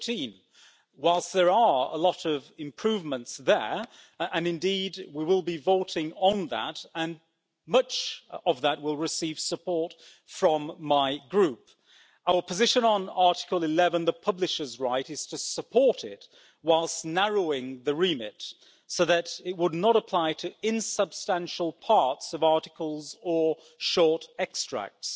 13. Whilst there are a lot of improvements there and indeed we will be voting on that and much of that will receive support from my Group our position on Article 11, the publisher's right, is to support it, whilst narrowing the remit so that it would not apply to insubstantial parts of articles or short extracts.